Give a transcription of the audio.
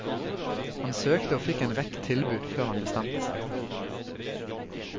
Han søkte og fikk en rekke tilbud før han bestemte seg.